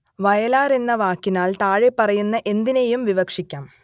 വയലാർ എന്ന വാക്കിനാൽ താഴെപ്പറയുന്ന എന്തിനേയും വിവക്ഷിക്കാം